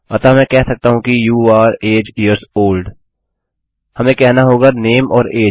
अतः मैं कह सकता हूँ कि you are age years old हमें कहना होगा नामे और अगे